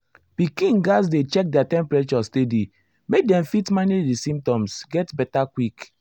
pikin gatz dey check their temperature steady make dem fit manage di symptoms get beta quick.